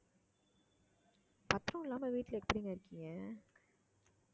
பத்திரம் இல்லாமல் வீட்டுல எப்படிங்க இருக்கீங்க